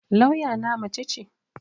Lawya na mace ce